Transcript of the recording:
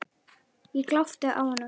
Ég glápti á hana.